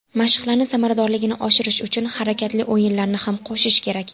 Mashqlarni samaradorligini oshirish uchun harakatli o‘yinlarni ham qo‘shish kerak.